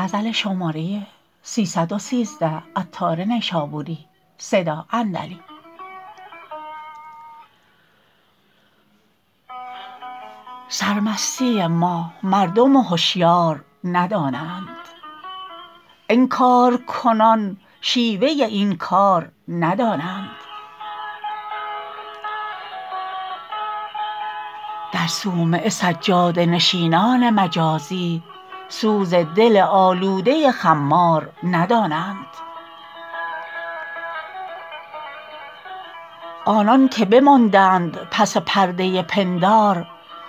سر مستی ما مردم هشیار ندانند انکار کنان شیوه این کار ندانند در صومعه سجاده نشینان مجازی سوز دل آلوده خمار ندانند آنان که بماندند پس پرده پندار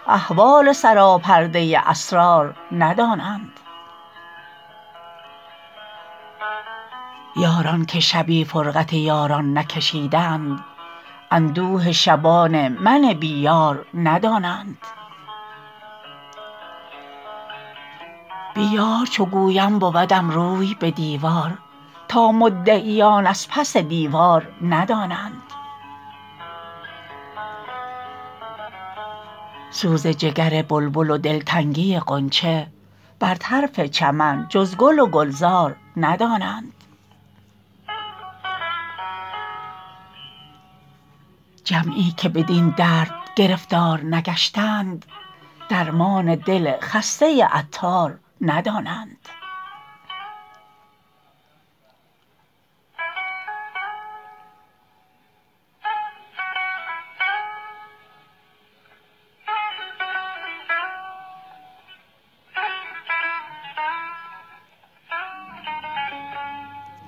احوال سراپرده اسرار ندانند یاران که شبی فرقت یاران نکشیدند اندوه شبان من بی یار ندانند بی یار چو گویم بودم روی به دیوار تا مدعیان از پس دیوار ندانند سوز جگر بلبل و دلتنگی غنچه بر طرف چمن جز گل و گلزار ندانند جمعی که بدین درد گرفتار نگشتند درمان دل خسته عطار ندانند